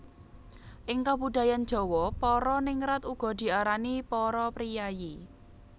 Ing kabudayan Jawa para ningrat uga diarani para priyayi